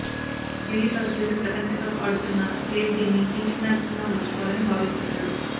కెరీర్లో చివరి ప్రపంచకప్ ఆడుతున్న గేల్ దీన్ని తీపి జ్ఞాపకంగా మలచుకోవాలని భావిస్తున్నాడు